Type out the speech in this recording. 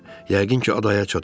Yəqin ki, adaya çatıb.